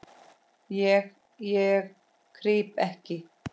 Ég, ég krýp ekki.